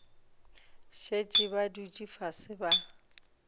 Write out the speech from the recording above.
šetše ba dutše fase ba